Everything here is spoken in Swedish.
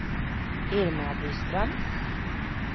Irma Byström